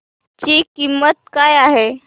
ची किंमत काय आहे